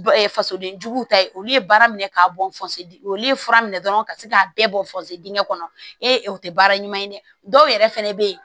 fasoden juguw ta ye olu ye baara minɛ k'a bɔ olu ye fura minɛ dɔrɔn ka se k'a bɛɛ bɔ dingɛn kɔnɔ e o tɛ baara ɲuman ye dɛ dɔw yɛrɛ fɛnɛ bɛ ye